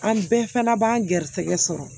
An bɛɛ fana b'an garisɛgɛ sɔrɔ